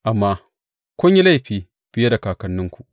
Amma kun yi laifi fiye da kakanninku.